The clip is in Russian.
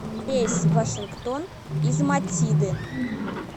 рейс в вашингтон из матиды